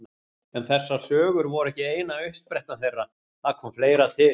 En þessar sögur voru ekki eina uppsprettan þeirra, það kom fleira til.